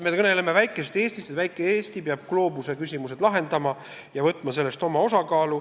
Me kõneleme väikesest Eestist, sellest, et väike Eesti peab gloobuse küsimused lahendama ja võtma nendest oma osa kanda.